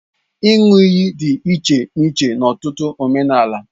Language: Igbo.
Ịṅụ iyi dị iche n'iche n'ọtụtụ omenala